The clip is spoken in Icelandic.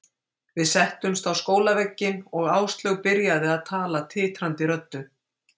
Við settumst á skólavegginn og Áslaug byrjaði að tala titrandi röddu.